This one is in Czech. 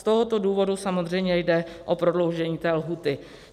Z tohoto důvodu samozřejmě jde o prodloužení té lhůty.